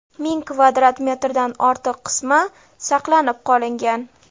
ming kvadrat metrdan ortiq qismi saqlanib qolingan.